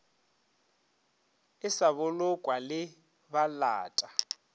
e sa bolokwa le balata